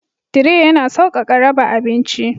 Tire yana sauƙaƙa raba abinci.